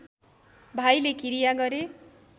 भाइले किरिया गरे